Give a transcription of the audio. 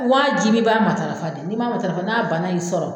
Wajibi i b'a matarafa de, n'i m'a matarafa, n'a banna y'i sɔrɔ.